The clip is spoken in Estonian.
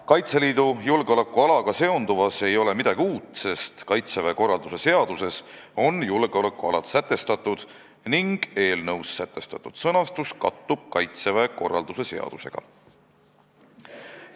Kaitseliidu julgeolekualaga seonduvas ei ole midagi uut, sest Kaitseväe korralduse seaduses on julgeolekualad sätestatud ning eelnõus sätestatud sõnastus kattub Kaitseväe korralduse seaduse sõnastusega.